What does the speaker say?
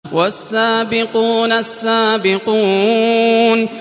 وَالسَّابِقُونَ السَّابِقُونَ